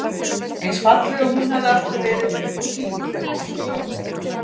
Eins falleg og hún hafði alltaf verið og tíguleg einsog drottning.